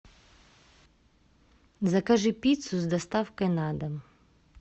закажи пиццу с доставкой на дом